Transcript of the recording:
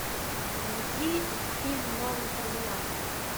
найди фильм новый терминатор